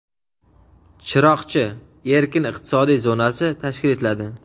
"Chiroqchi" erkin iqtisodiy zonasi tashkil etiladi.